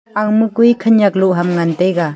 aga ma koi khanak log ham ngan tai ga.